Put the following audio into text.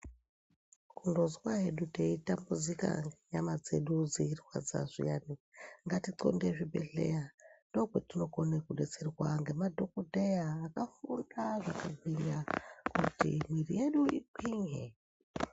Kungozwa hedu teitambudzika ngenyama dzedu dzeirwadza zviyani ngatiqonde kuzvibhehleya ,ndokwetinokona kudetserwa ngamadhokodheya akafunda zviyana kuti mwiiri yedu igwinye.